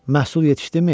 Məhsul yetişdimi?